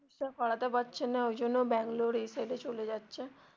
চিকিৎসা করাতে পারছে না ওই জন্য বাঙ্গালোর এই side এ চলে যাচ্ছে.